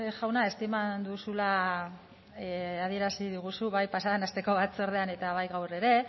jauna estiman duzula adierazi diguzu bai pasaden asteko batzordean baita gaur ere